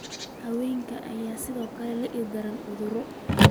Xayawaanka ayaa sidoo kale la ildaran cudurro.